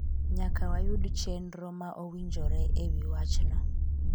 nyaka wayud chenro ma owinjore e wi wachno,